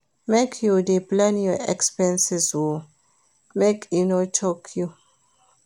Make you dey plan your expenses o make e no choke you.